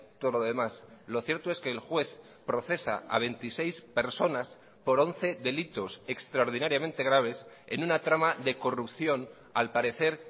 todo lo demás lo cierto es que el juez procesa a veintiséis personas por once delitos extraordinariamente graves en una trama de corrupción al parecer